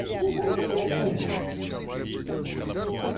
Inventar de vender as coisas.